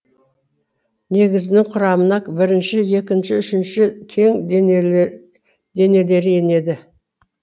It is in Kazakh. негізгінің құрамына бірінші екінші үшінші кен денелері енеді